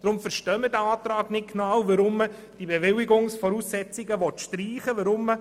Darum verstehen wir den Antrag nicht genau und warum man die Bewilligungsvoraussetzungen streichen will.